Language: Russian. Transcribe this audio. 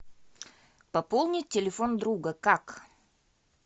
пополнить телефон друга как